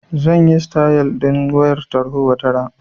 Zan yi sitayal ɗin wayar tarho wataran.